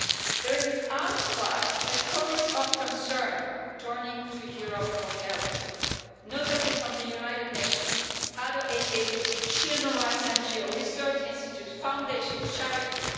There is an outcry, a chorus of concern turning to Europe for help, notably from the United Nations, other aid agencies, children's rights NGOs, research institutes, foundations, charities.